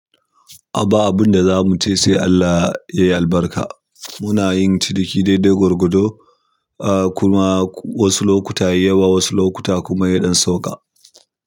Ba abun da za mu ce sai Allah ya albarka. Muna yin ciniki daidai gwargwado, ah kuma wasu lokuta yayi yawa, wasu lokuta kuma yaɗan sauka.